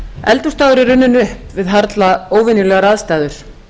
eldhúsdagur er runnin upp við harla óvenjulegar aðstæður